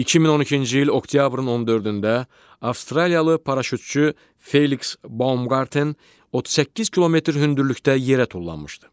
2012-ci il oktyabrın 14-də Avstraliyalı paraşütçü Feliks Bomqarten 38 km hündürlükdə yerə tullanmışdı.